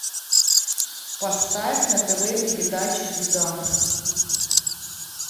поставь на тв передачу еда